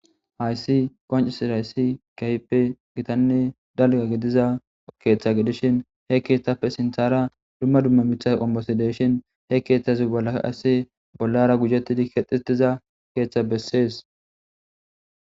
hayssi qoncisirhayssi kaype gitanne dalga gidiza keeththa gidishin he keeththappe sinthara dumma dumma mitha qombosi deshin he keeththazi balaa asi bollara gujettidi kexxietiza keeththa bessees